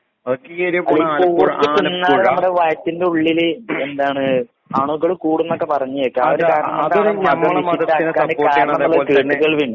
Pork തിന്നാല് വയറ്റിന്റെ ഉള്ളില് എന്താണ് അണുക്കള് കൂടുന്നൊക്കെ പറഞ്ഞു കേക്കാം. കേട്ടുകേഴ്വി ഉണ്ട്.